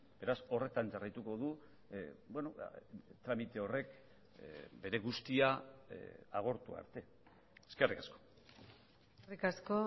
beraz horretan jarraituko du tramite horrek bere guztia agortu arte eskerrik asko eskerrik asko